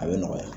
A bɛ nɔgɔya